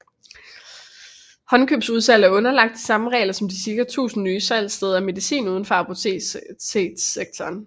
Håndkøbsudsalg er underlagt de samme regler som de cirka 1000 nye salgssteder af medicin uden for apotekssektoren